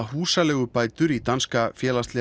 húsaleigubætur í danska